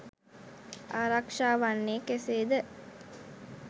ආරක්ෂා වන්නේ කෙසේද